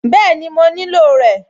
Bẹ́ẹ̀ni, mo nílò rẹ̀